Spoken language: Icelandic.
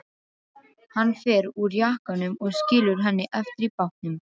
Hann fer úr jakkanum og skilur hann eftir í bátnum.